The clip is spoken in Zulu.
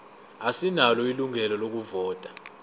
asinalo ilungelo lokuvota